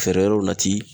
Feere yɔrɔw nati